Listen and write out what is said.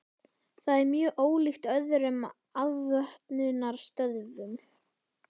Það er mjög ólíkt öðrum afvötnunarstöðvum.